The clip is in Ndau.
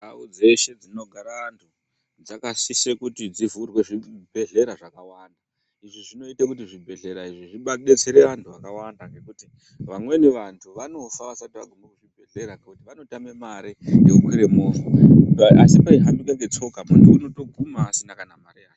Ndau dzeshe dzinogara antu dzakasise kuti dzivhurwe zvibhedhlera zvakawanda. Izvi zvinoite kuti zvibhedhlera izvi zvidetsere antu akawanda ngekuti vamweni vantu vanofa vasati vagume kuchibhedhlerakwo ngekuti vanotame mare yekukwire movha asi kana peihambika netsoka muntu unotoguma asina mare yaadusa.